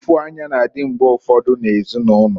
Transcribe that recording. Ụfụanya na-adị mgbe ụfọdụ na ezinụlọ.